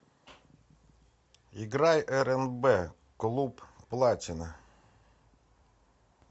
играй рнб клуб платина